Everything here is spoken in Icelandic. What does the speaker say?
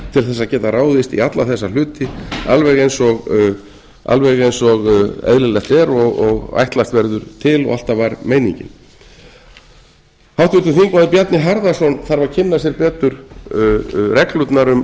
til þess að geta ráðist í alla þessa hluti alveg eins og eðlilegt er og ætlast verður til og alltaf var meiningin háttvirtur þingmaður bjarni harðarson þarf að kynna sér betur reglurnar